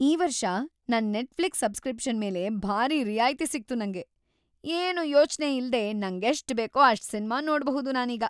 ಈ ವರ್ಷ ನನ್ ನೆಟ್‌ಫ್ಲಿಕ್ಸ್ ಸಬ್ಸ್‌ಕ್ರಿಪ್ಷನ್‌ ಮೇಲೆ ಭಾರೀ ರಿಯಾಯ್ತಿ ಸಿಕ್ತು ನಂಗೆ. ಏನೂ ಯೋಚ್ನೆ ಇಲ್ಲೇ ನಂಗೆಷ್ಟ್‌ ಬೇಕೋ ಅಷ್ಟ್‌ ಸಿನ್ಮಾ ನೋಡ್ಬಹುದು ನಾನೀಗ.